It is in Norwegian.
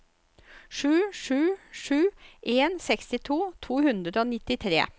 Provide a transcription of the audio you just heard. sju sju sju en sekstito to hundre og nittitre